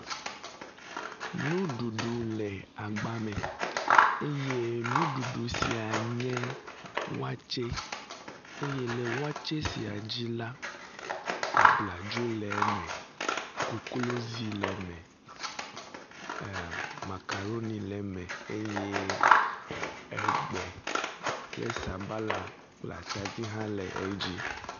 Nuɖuɖu le agba me eye nuɖuɖu sia nye watsɛ eye le watsɛ sia dzi la, abladzo le eme, koklozi le eme, e makaɖoni le eme eye egbe kple sabala kple atadi hã le edzi.